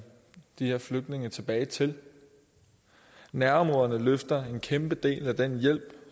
de her flygtninge tilbage til nærområderne løfter en kæmpe del af den hjælp